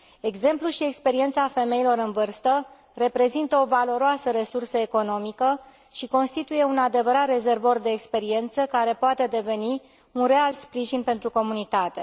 Exemplul și experiența femeilor în vârstă reprezintă o valoroasă resursă economică și constituie un adevărat rezervor de experiență care poate deveni un real sprijin pentru comunitate.